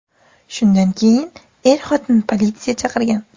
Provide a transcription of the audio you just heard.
Shundan keyin er-xotin politsiya chaqirgan.